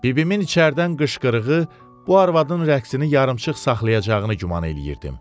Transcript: Bibimin içəridən qışqırığı bu arvadın rəqsini yarımçıq saxlayacağına güman eləyirdim.